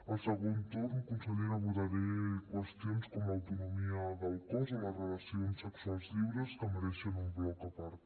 al segon torn consellera abordaré qüestions com l’autonomia del cos o les relacions sexuals lliures que mereixen un bloc a part